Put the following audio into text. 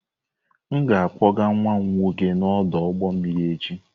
Aga m akpọga nwa m nwoke n'ọdụ ụgbọ mmiri echi.